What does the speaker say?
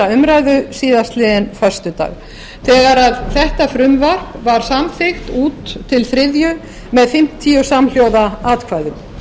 umræðu síðastliðinn föstudag þegar þetta frumvarp var samþykkt út til þriðju umræðu með fimmtíu shlj atkvæðum